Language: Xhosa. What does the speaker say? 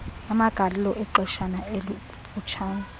amagalelo exeshana elifutshane